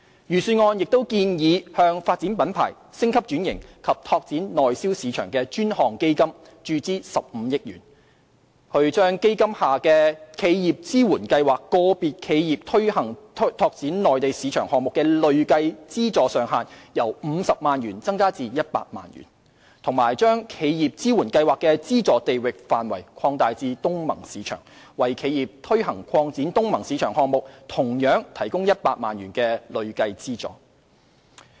預算案亦建議向"發展品牌、升級轉型及拓展內銷市場的專項基金"注資15億元，以把基金下的"企業支援計劃"個別企業推行拓展內地市場項目的累計資助上限由50萬元增加至100萬元，以及將"企業支援計劃"的資助地域範圍擴大至東盟市場，為企業推行擴展東盟市場項目同樣提供100萬元累計資助。